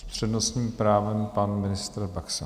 S přednostním právem pan ministr Baxa.